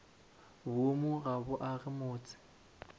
boomo ga bo age motse